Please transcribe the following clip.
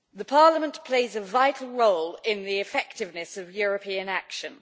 Parliament plays a vital role in the effectiveness of European action.